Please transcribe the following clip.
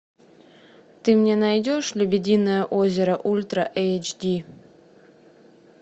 ты мне найдешь лебединое озеро ультра эйч ди